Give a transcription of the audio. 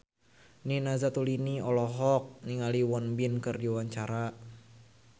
Nina Zatulini olohok ningali Won Bin keur diwawancara